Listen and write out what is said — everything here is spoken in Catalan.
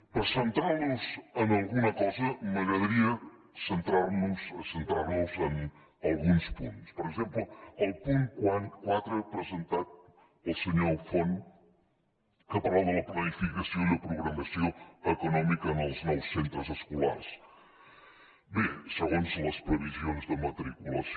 per centrar nos en alguna cosa m’agradaria centrar nos en alguns punts per exemple el punt quatre presentat pel senyor font que parla de la planificació i la programació econòmica en els nous centres escolars segons les previsions de matriculació